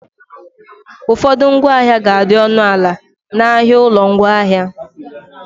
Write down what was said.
Ụfọdụ ngwaahịa ga adị ọnụ ana na ahịa ụlọ ngwaahịa